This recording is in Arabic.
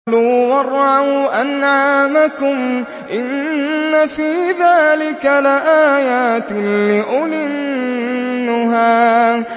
كُلُوا وَارْعَوْا أَنْعَامَكُمْ ۗ إِنَّ فِي ذَٰلِكَ لَآيَاتٍ لِّأُولِي النُّهَىٰ